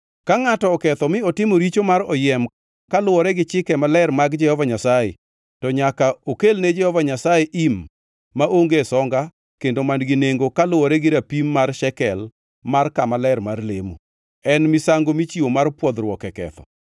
“Ka ngʼato oketho mi otimo richo mar oyiem kaluwore gi chike maler mag Jehova Nyasaye, to nyaka okel ne Jehova Nyasaye im maonge songa kendo man-gi nengo kaluwore gi rapim mar shekel mar kama ler mar lemo. En misango michiwo mar pwodhruok e ketho.